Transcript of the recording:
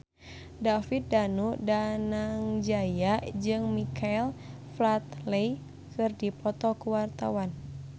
David Danu Danangjaya jeung Michael Flatley keur dipoto ku wartawan